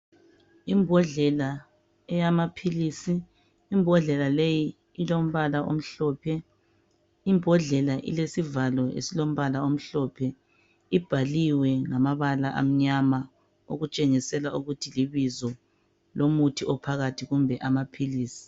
Imbodlela eyamaphilisi. Imbodlela leyi ilombala omhlophe. Imbodlela ilesivalo esilombala omhlophe. Ibhaliwe ngamabala amnyama okutshingisela ukuthi libizo lomuthi ophakathi kumbe amaphilisi.